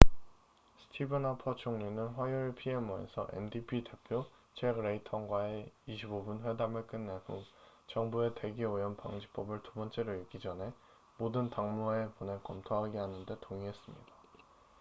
스티븐 하퍼 총리는 화요일 pmo에서 ndp 대표 잭 레이턴과의 25분 회담을 끝낸 후 정부의 대기 오염 방지법'을 두 번째로 읽기 전에 모든 당무회에 보내 검토하게 하는데 동의했습니다